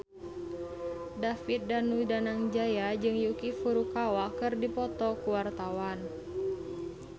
David Danu Danangjaya jeung Yuki Furukawa keur dipoto ku wartawan